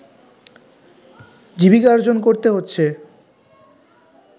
জীবিকার্জন করতে হচ্ছে